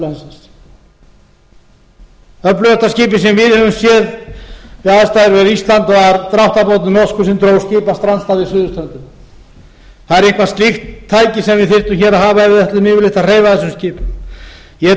landsins öflugasta skipið sem við höfum séð við aðstæður við ísland var norskur dráttarbátur sem dró skip af strandstað við suðurströndina það er eitthvert slíkt tæki sem við þyrftum að hafa hér ef við ætlum yfirleitt að hreyfa slíkum skipum ég